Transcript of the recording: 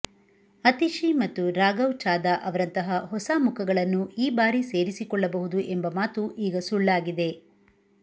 ಅತಿಶಿ ಮತ್ತು ರಾಘವ್ ಚಾಧಾ ಅವರಂತಹ ಹೊಸ ಮುಖಗಳನ್ನು ಈ ಬಾರಿ ಸೇರಿಸಿಕೊಳ್ಳಬಹುದು ಎಂಬ ಮಾತು ಈಗ ಸುಳ್ಳಾಗಿದೆ